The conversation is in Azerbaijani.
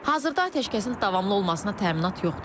Hazırda atəşkəsin davamlı olmasına təminat yoxdur.